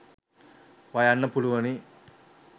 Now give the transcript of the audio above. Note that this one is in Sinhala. වයන්න පුළුවනි.